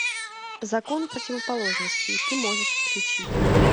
закон противоположностей ты можешь включить